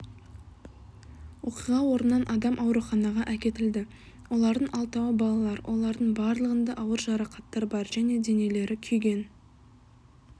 оқиға орнынан адам ауруханаға әкетілді олардың алтауы балалар олардың барылығында ауыр жарақаттар бар және денелері күйген